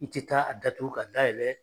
I tɛ taa a datugu k'a dayɛlɛ